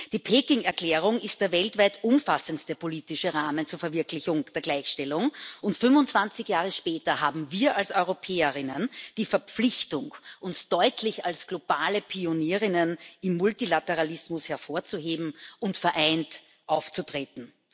Die Peking Erklärung ist der weltweit umfassendste politische Rahmen zur Verwirklichung der Gleichstellung, und 25 Jahre später haben wir als Europäerinnen die Verpflichtung, uns deutlich als globale Pionierinnen im Multilateralismus hervorzuheben und vereint aufzutreten.